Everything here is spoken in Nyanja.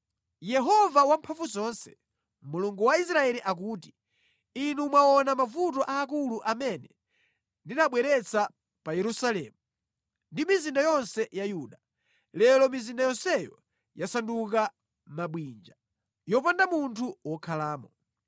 “Yehova Wamphamvuzonse, Mulungu wa Israeli akuti: Inu mwaona mavuto aakulu amene ndinawabweretsa pa Yerusalemu ndi mizinda yonse ya Yuda. Lero mizinda yonseyo yasanduka mabwinja, yopanda munthu wokhalamo.